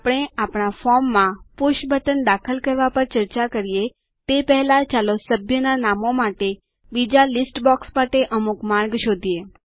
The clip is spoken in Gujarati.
આપણે આપણા ફોર્મમાં પુષ બટન દાખલ કરવા પર ચર્ચા કરીએ તે પેહલા ચાલો સભ્યના નામો માટે બીજા લીસ્ટ બોક્સ માટે અમુક માર્ગ શોધીએ